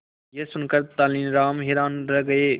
यह सुनकर तेनालीराम हैरान रह गए